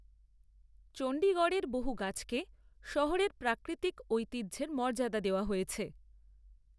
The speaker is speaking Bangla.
চণ্ডীগড়ের বহু গাছকে শহরের প্রাকৃতিক ঐতিহ্যের মর্যাদা দেওয়া হয়েছে।